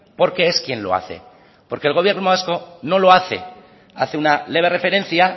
porque es quien lo hace porque el gobierno vasco no lo hace hace una leve referencia